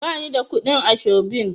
Ba ni da kuɗin ashobin.